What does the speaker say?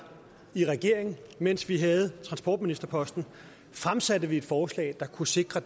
i regering mens vi havde transportministerposten fremsatte vi et forslag der kunne sikre